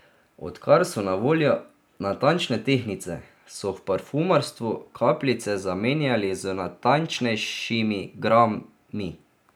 Odkar so na voljo natančne tehtnice, so v parfumarstvu kapljice zamenjali z natančnejšimi grami.